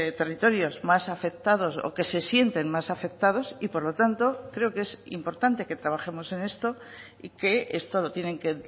territorios más afectados o que se sienten más afectados y por lo tanto creo que es importante que trabajemos en esto y que esto lo tienen que